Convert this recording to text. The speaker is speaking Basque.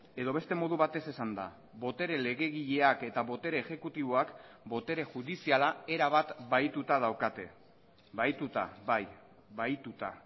edo beste modu batez esanda botere legegileak eta botere exekutiboak botere judiziala erabat bahituta daukate bahituta bai bahituta